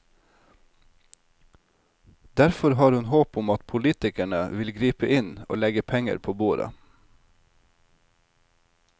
Derfor har hun håp om at politikerne vil gripe inn og legge penger på bordet.